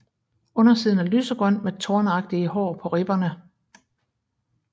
Undersiden er lysegrøn med tornagtige hår på ribberne